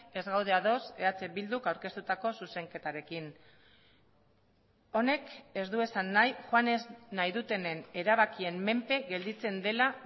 ez gaude ados eh bilduk aurkeztutako zuzenketarekin honek ez du esan nahi joan ez nahi dutenen erabakien menpe gelditzen dela